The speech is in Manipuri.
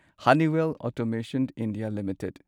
Honeywell automation India limited